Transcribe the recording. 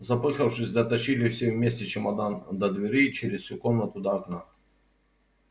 запыхавшись дотащили все вместе чемодан до двери и через всю комнату до окна